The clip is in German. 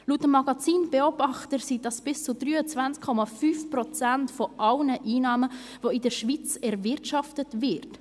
Laut dem Magazin «Beobachter» sind dies bis zu 23,5 Prozent aller Einnahmen, die in der Schweiz erwirtschaftet werden!